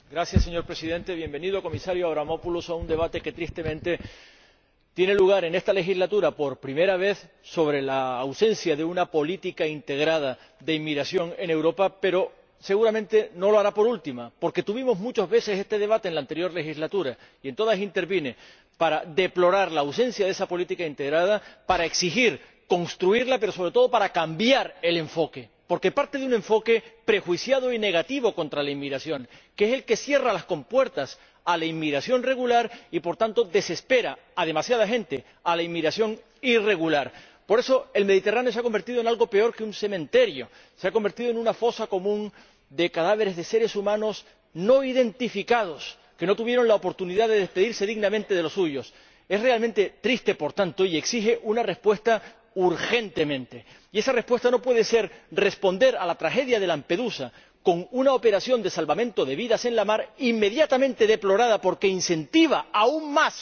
Señor Presidente, Comisario Avramopoulos, bienvenido a un debate sobre la ausencia de una política integrada de inmigración en Europa que, tristemente, tiene lugar en esta legislatura por primera vez, pero que, seguramente, no lo hará por última, porque tuvimos muchas veces este debate en la anterior legislatura y en todas intervine para deplorar la ausencia de esa política integrada, para exigir construirla, pero, sobre todo, para cambiar el enfoque. Porque parte de un enfoque prejuiciado y negativo contra la inmigración, que es el que cierra las compuertas a la inmigración regular y, por tanto, aboca a demasiada gente a la inmigración irregular. Por eso, el Mediterráneo se ha convertido en algo peor que un cementerio se ha convertido en una fosa común de cadáveres de seres humanos no identificados que no tuvieron la oportunidad de despedirse dignamente de los suyos. Es realmente triste, por tanto, y exige una respuesta urgentemente. Y esa respuesta no puede ser responder a la tragedia de Lampedusa con una operación de salvamento de vidas en la mar, inmediatamente deplorada porque incentiva aún